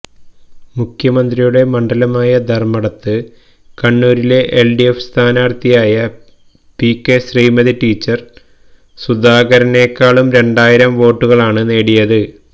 മുഖ്യമന്ത്രിയുടെ മണ്ഡലമായ ധര്മ്മടത്ത് കണ്ണൂരിലെ എല്ഡിഎഫ് സ്ഥാനാര്ഥിയായ പികെ ശ്രീമതി ടീച്ചര് സുധാകരനേക്കാള് രണ്ടായിരം വോട്ടുകളാണ് നേടിയത്